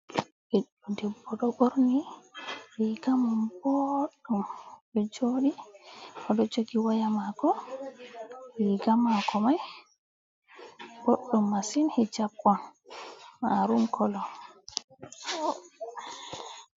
Ɓiɗɗo debbo ɗo ɓorni rigamum ɓoɗɗum, oɗo joɗi oɗo jogi waya mako, riga mako mai boɗdum massin hijab on marun kolo.